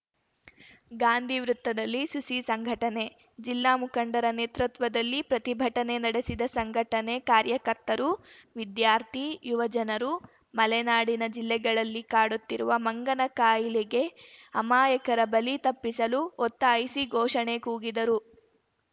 ಗಾಂಧಿ ವೃತ್ತದಲ್ಲಿ ಸುಸಿ ಸಂಘಟನೆ ಜಿಲ್ಲಾ ಮುಖಂಡರ ನೇತೃತ್ವದಲ್ಲಿ ಪ್ರತಿಭಟನೆ ನಡೆಸಿದ ಸಂಘಟನೆ ಕಾರ್ಯಕರ್ತರು ವಿದ್ಯಾರ್ಥಿ ಯುವ ಜನರು ಮಲೆನಾಡಿನ ಜಿಲ್ಲೆಗಳಲ್ಲಿ ಕಾಡುತ್ತಿರುವ ಮಂಗನ ಕಾಯಿಲೆಗೆ ಅಮಾಯಕರ ಬಲಿ ತಪ್ಪಿಸಲು ಒತ್ತಾಯಿಸಿ ಘೋಷಣೆ ಕೂಗಿದರು